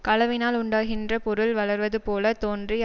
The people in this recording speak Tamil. களவினால் உண்டாகின்ற பொருள் வளர்வது போல தோன்றி